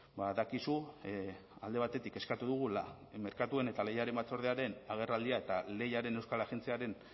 badakizu alde batetik eskatu dugula merkatuen eta lehiaren batzordearen agerraldia eta lehiaren euskal agentziaren